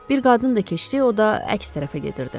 Bir qadın da keçdi, o da əks tərəfə gedirdi.